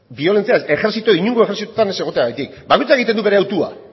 biolentzia ez ejertzito inongo ejertzitotan ez egoteagatik bakoitzak egiten du bere hautua